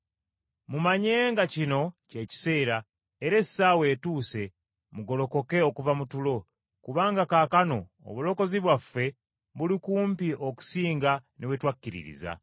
Mumanye nga kino kye kiseera, era essaawa etuuse mugolokoke okuva mu tulo, kubanga kaakano obulokozi bwaffe buli kumpi okusinga ne we twakkiririza.